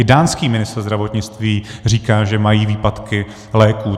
I dánský ministr zdravotnictví říká, že mají výpadky léků.